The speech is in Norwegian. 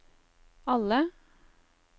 alle